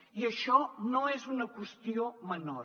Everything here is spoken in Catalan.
i això no és una qüestió menor